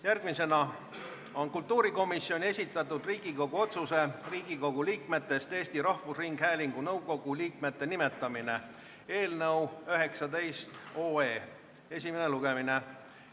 Järgmine punkt on kultuurikomisjoni esitatud Riigikogu otsuse "Riigikogu liikmetest Eesti Rahvusringhäälingu nõukogu liikmete nimetamine" eelnõu 19 esimene lugemine.